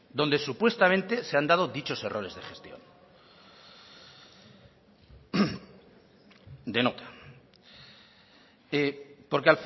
donde supuestamente se han dado dichos errores de gestión de nota porque